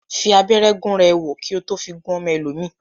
Fi abẹ́rẹ́ gúnra ẹ wò, kí ó tó fi gún ọmọ ẹlòmíì